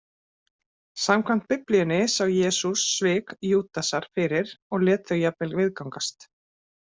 Samkvæmt Biblíunni sá Jesús svik Júdasar fyrir, og lét þau jafnvel viðgangast.